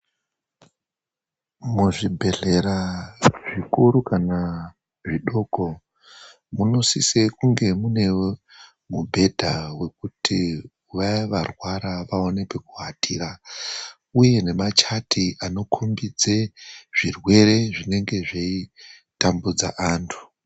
Muzvibhedhlera zvikuru kana zvidoko, munosise kunge munewo mubhedha wekuti vaya varwara vaone pekuatira, uye nema chati anokhombidze zvirwere zvinenge zveitambudza antu.